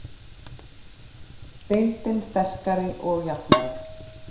Deildin sterkari og jafnari